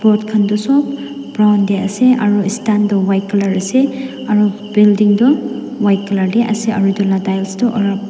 khan tu sob brown te ase aru stand tu white colour ase aru building tu white colour te ase aru itu tiles tu--